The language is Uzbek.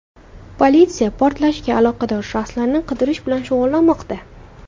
Politsiya portlashga aloqador shaxslarni qidirish bilan shug‘ullanmoqda.